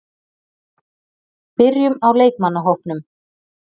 Byrjum á leikmannahópnum.